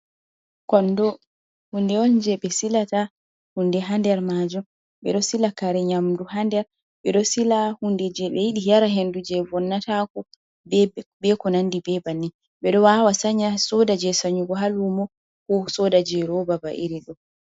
Kondo hunde on je ɓe silata hunde ha nder majum, ɓe ɗo sila kare nyamdu ha nder, ɓe ɗo sila hunde je ɓe yiɗi yara hendu je bonnatako be kunandi bebanni, be ɗo wawa sanya soda je sanyigu ha lumo ko soda je roba ba iri ɗo.